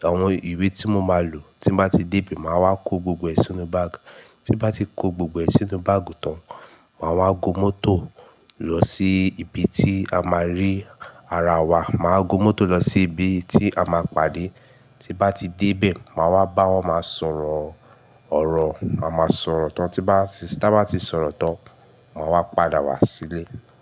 àwọn ìwé tí mo máa lò. Tí bá ti dé bẹ̀, màá wá kó gbogbo ẹ̀ sínú báàgi. Tí bá ti kó gbogbo ẹ̀ sínú báàgi tán, màá wá gun mọ́tò lọ sí ibi tí a máa rí ara wa. Màá gun mọ́tò lọ sí ibi tí a máa pàdé. Tí bá ti dé bẹ̀, màá wá bá wọn, màá sọ̀rọ̀ ọ̀rọ̀, màá sọ̀rọ̀ tán. Tí bá, tí bá ti sọ̀rọ̀ tán, màá wá padà wá sílé.